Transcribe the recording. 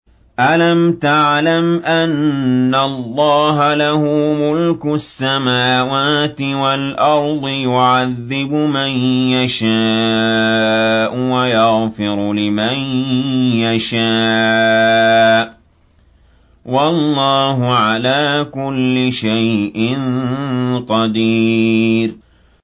أَلَمْ تَعْلَمْ أَنَّ اللَّهَ لَهُ مُلْكُ السَّمَاوَاتِ وَالْأَرْضِ يُعَذِّبُ مَن يَشَاءُ وَيَغْفِرُ لِمَن يَشَاءُ ۗ وَاللَّهُ عَلَىٰ كُلِّ شَيْءٍ قَدِيرٌ